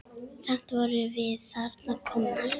Samt vorum við þarna komnar.